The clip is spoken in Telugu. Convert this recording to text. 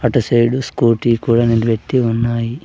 అటు సైడు స్కూటీ కూడా నిలబెట్టి ఉన్నాయి.